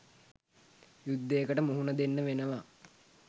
යුද්ධයකට මුහුණ දෙන්න වෙනව